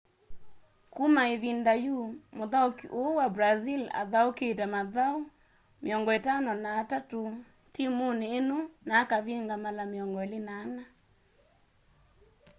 kuma ivinda yu muthauki uu wa brazil athaukite mathauni 53 timuni ino na akavinga mala 24